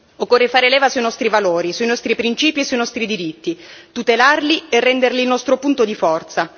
Occorre fare leva sui nostri valori, sui nostri principi e sui nostri diritti, tutelarli e renderli il nostro punto di forza.